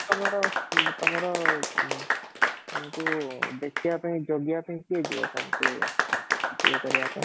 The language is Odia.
ତମର ଓଁ ତମର ଓଁ ତମକୁ ଦେଖିବା ପାଇଁ ଜଗିବା ପାଇଁ କିଏ ଯିବ ତମକୁ ୟେ କରିବା ପାଇଁ